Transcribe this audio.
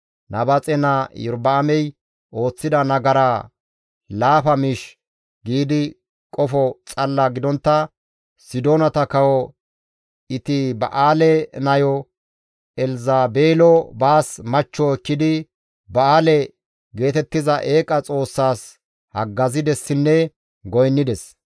Nabaaxe naa Iyorba7aamey ooththida nagara laafa miish giidi qofo xalla gidontta Sidoonata kawo Etiba7aale nayo Elzabeelo baas machcho ekkidi Ba7aale geetettiza eeqa xoossas haggazidessinne goynnides.